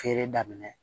Feere daminɛ